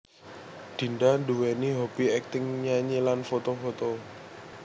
Dinda nduwèni hobby acting nyanyi lan foto foto